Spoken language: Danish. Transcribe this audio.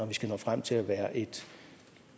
vi skal nå frem til at være et